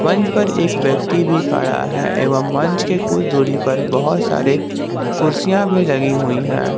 मंच पर एक व्यक्ति भी खड़ा है एवं मंच के कुछ दूरी पर बहुत सारे कुर्सियां भी लगी हुई है।